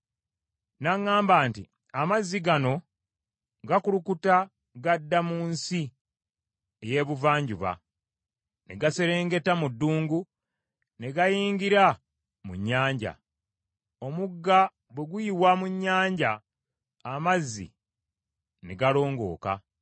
N’aŋŋamba nti, “Amazzi gano gakulukuta gadda mu kitundu eky’ensi eky’Ebuvanjuba, ne gaserengeta mu ddungu, ne gayingira mu Nnyanja. Omugga bwe guyiwa mu Nnyanja amazzi ne galongooka.